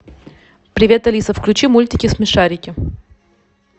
привет алиса включи мультики смешарики